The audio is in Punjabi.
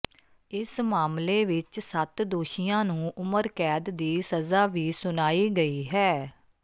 ਇਸ ਮਾਮਲੇ ਵਿੱਚ ਸੱਤ ਦੋਸ਼ੀਆਂ ਨੂੰ ਉਮਰ ਕੈਦ ਦੀ ਸਜ਼ਾ ਵੀ ਸੁਣਾਈ ਗਈ ਹੈ